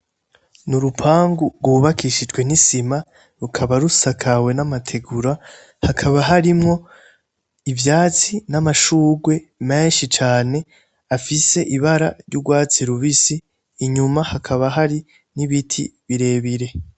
N'urupangu gw'ubakishijwe n'isima rukaba rusakawe n'amategura hakaba harimwo ivyatsi, n'amashugwe menshi cane afise ibara ry'ugwatsi rubisi, inyuma hakaba hari n'ibiti birebire.